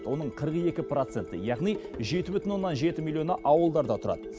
оның қырық екі проценті яғни жеті бүтін оннан жеті миллионы ауылдарда тұрады